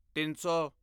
ਤਿੱਨ ਸੌ